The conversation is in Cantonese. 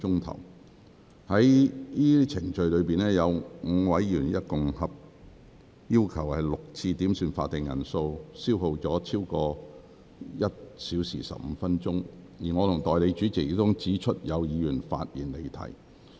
在上述程序中，有5名議員合共要求6次點算法定人數，消耗超過1小時15分鐘，而我和代理主席亦曾指出有議員發言離題。